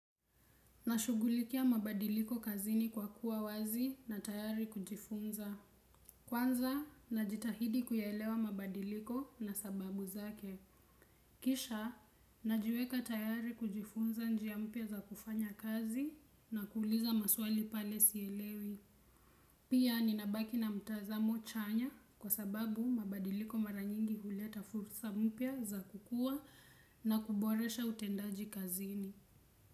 Nashughulikia mabadiliko kazini kwa kuwa wazi na tayari kujifunza. Kwanza, najitahidi kuyaelewa mabadiliko na sababu zake. Kisha, najiweka tayari kujifunza njia mpya za kufanya kazi na kuuliza maswali pale sielewi. Pia, ninabaki na mtazamo chanya kwa sababu mabadiliko mara nyingi huleta fursa mpya za kukua na kuboresha utendaji kazini.